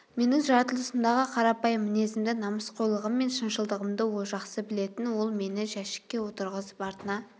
менің жаратылысымдағы қарапайым мінезімді намысқойлығым мен шыншылдығымды ол жақсы білетін ол мені жәшікке отырғызып артына